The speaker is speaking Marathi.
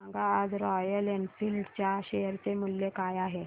सांगा आज रॉयल एनफील्ड च्या शेअर चे मूल्य काय आहे